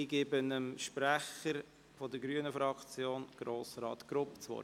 Ich gebe dem Sprecher der grünen Fraktion, Grossrat Grupp, das Wort.